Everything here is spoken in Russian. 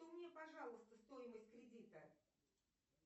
мне пожалуйста стоимость кредита